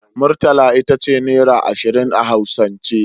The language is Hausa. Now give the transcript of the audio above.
Murtala itace naira ashirin a hausance